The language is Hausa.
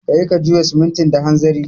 Ka yi ka juya simintin da hanzari